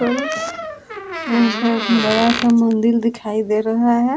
यहाँ पर एक बड़ा-सा मंदिर दिखाई दे रहा है ।